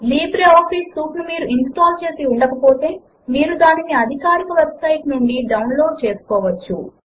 LibreOffice suite ను మీరు install చేసి ఉండకపోతే మీరు దానిని అధికారిక వెబ్ సైట్ నుంచి డౌన్ లోడ్ చేసుకోవచ్చు